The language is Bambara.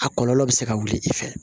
A kɔlɔlɔ bɛ se ka wuli i fɛ